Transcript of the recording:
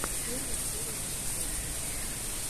первая серия медвежонка